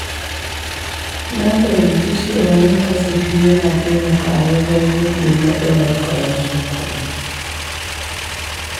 Na fahimci cewa yin kasafi yana taimakawa wajen rage matsalar ƙarancin kuɗi.